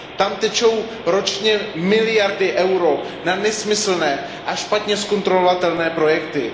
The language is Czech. Tam tečou ročně miliardy eur na nesmyslné a špatně kontrolovatelné projekty.